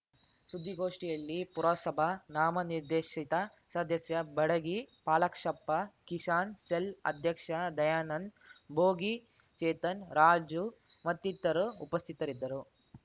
ಸುದ್ದಿಗೋಷ್ಠಿಯಲ್ಲಿ ಪುರಸಭಾ ನಾಮನಿರ್ದೇಶಿತ ಸದಸ್ಯ ಬಡಗಿ ಪಾಲಾಕ್ಷಪ್ಪ ಕಿಸಾನ್‌ ಸೆಲ್‌ ಅಧ್ಯಕ್ಷ ದಯಾನಂದ್‌ ಭೋಗಿ ಚೇತನ್‌ ರಾಜು ಮತ್ತಿತರು ಉಪಸ್ಥಿತರಿದ್ದರು